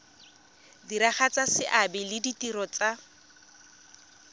diragatsa seabe le ditiro tsa